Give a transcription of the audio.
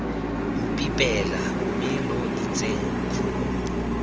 mpipela mme lo itseng khumo